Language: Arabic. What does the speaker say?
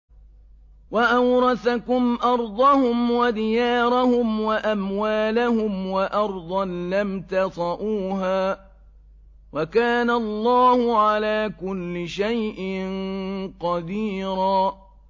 وَأَوْرَثَكُمْ أَرْضَهُمْ وَدِيَارَهُمْ وَأَمْوَالَهُمْ وَأَرْضًا لَّمْ تَطَئُوهَا ۚ وَكَانَ اللَّهُ عَلَىٰ كُلِّ شَيْءٍ قَدِيرًا